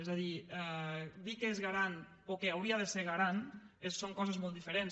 és a dir dir que és garant o que hauria de ser garant són coses molt diferents